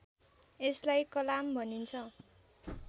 यसलाई कलाम भनिन्छ